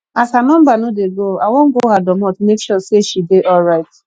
as her number no dey go i wan go her domot make sure sey she dey alright